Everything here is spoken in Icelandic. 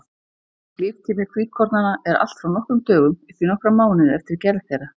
Líftími hvítkornanna er allt frá nokkrum dögum upp í nokkra mánuði eftir gerð þeirra.